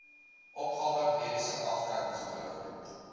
opgawe mediese aftrekkingskode